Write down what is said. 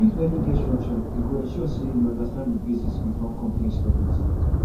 if learning get structure e go ensure say you understand the basics before complex topics